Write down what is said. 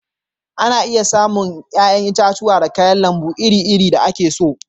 Ana iya samu yayan itatuwa da kayan lambu iri-iri da ake so.